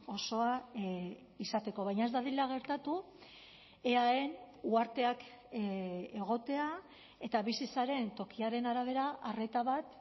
osoa izateko baina ez dadila gertatu eaen uharteak egotea eta bizi zaren tokiaren arabera arreta bat